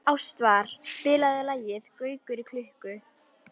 Ástvar, spilaðu lagið „Gaukur í klukku“.